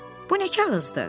Bu nə kağızdır?